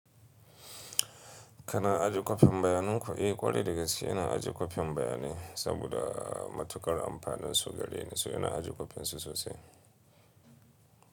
Ka na ajiye kwafan bayanan ku? Eh ƙwarai dagaske ina ajiye kwafan bayanai saboda matuƙar amfanin su gari ne su yana ajiye kwafen su sosai.